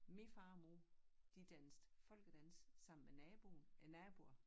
Min far og mor de dansede folkedans sammen med naboen æ naboer